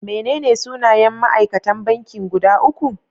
Menene sunayen ma'aikatan banki guda uku?